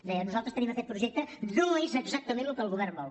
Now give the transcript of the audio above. deia nosaltres tenim aquest projecte no és exactament el que el govern vol